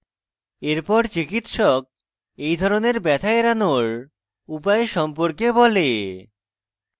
এরপর চিকিৎসক এই ধরনের ব্যথা এড়ানোর উপায় সম্পর্কে বলে